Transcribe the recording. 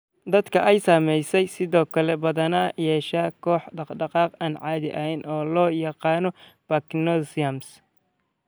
Dadka ay saamaysay waxay sidoo kale badanaa yeeshaan koox dhaqdhaqaaq aan caadi ahayn oo loo yaqaan parkinsonism.